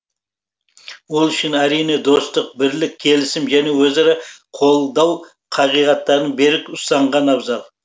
ол үшін әрине достық бірлік келісім және өзара қолдау қағидаттарын берік ұстанған абзал